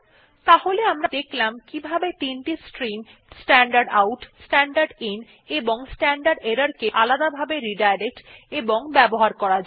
তাহলে আমরা দেখলাম কিভাবে তিনটি stream standard out standard in ও স্ট্যান্ডার্ড এরর কে আলাদাভাবে রিডাইরেক্ট এবং ব্যবহার করা যায়